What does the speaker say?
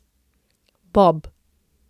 Bob!